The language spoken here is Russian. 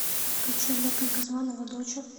включи олега газманова доча